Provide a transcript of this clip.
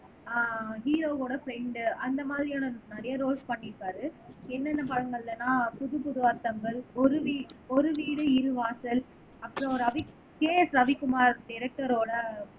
ஆஹ் ஹீரோவோட ப்ரெண்ட் அந்த மாதிரியான நிறைய ரோல்ஸ் பண்ணியிருக்காரு என்னென்ன படங்கள்லன்னா புதுப்புது அர்த்தங்கள் ஒரு வீடு இரு வாசல் அப்புறம் ரவி கே எஸ் ரவிக்குமார் டைரக்டரோட